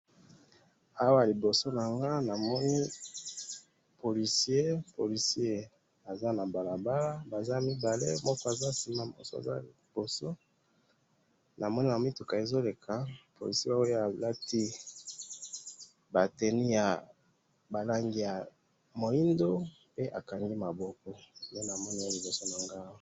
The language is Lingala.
awa liboso nanga na moni policier, policier aza na balabala baza mibale moko aza sima moko aza liboso na moni mituka ezo leka policier oyo a lati ba teni ya mwuindu a kangi maboko